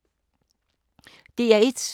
DR1